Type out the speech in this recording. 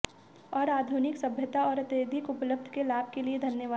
और आधुनिक सभ्यता और अत्यधिक उपलब्ध के लाभ के लिए धन्यवाद